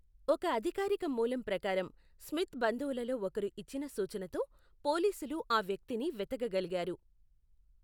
ఒక అధికారిక మూలం ప్రకారం, స్మిత్ బంధువులలో ఒకరు ఇచ్చిన సూచనతో పోలీసులు ఆ వ్యక్తిని వెతకగలిగారు.